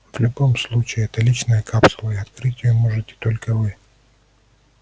в любом случае это личная капсула и открыть её можете только вы